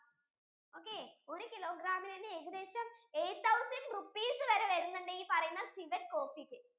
okay ഒരു kilogram ഇന് തന്നെ ഏകദേശം eight thousand rupees വരെ വരുന്നുണ്ട് ഈ പറയുന്ന civet coffee